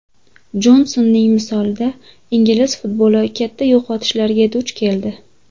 Jonsonning misolida ingliz futboli katta yo‘qotishlarga duch keldi.